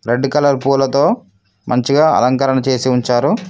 Red colour పూలతో మంచిగా అలంకరణ చేసి ఉంచారు.